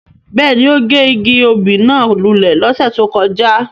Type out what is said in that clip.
Bẹ́ẹ̀ni, o ge igi obí náa lule lọse to kọja.